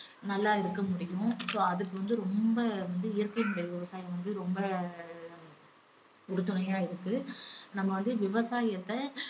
நல்லா இருக்க முடியும் so அதுக்கு வந்து ரொம்ப வந்து இயற்கை முறை விவசாயம் வந்து ரொம்ப உறுதுணையா இருக்கு நம்ம வந்து விவசாயத்தை